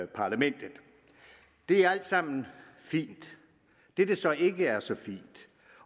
parlamentet det er alt sammen fint det der så ikke er så fint